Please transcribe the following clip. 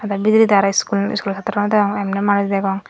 te bidiredi araw iskul iskulo satro degong emne manuj degong.